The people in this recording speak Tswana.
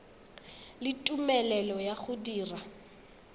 le tumelelo ya go dira